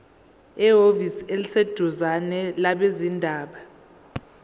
ehhovisi eliseduzane labezindaba